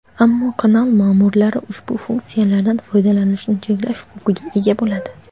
ammo kanal ma’murlari ushbu funksiyalardan foydalanishni cheklash huquqiga ega bo‘ladi.